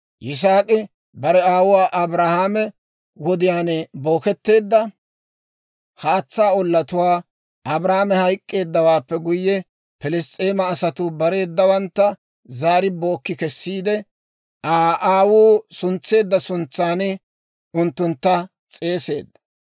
Yisaak'i bare aawuwaa Abrahaame wodiyaan booketteedda haatsaa ollatuwaa, Abrahaame hayk'k'eeddawaappe guyye, Pilss's'eema asatuu bareedawantta zaari bookki kessiide, Aa aawuu suntseedda suntsan unttuntta s'eeseedda.